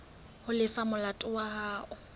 ho lefa molato wa hao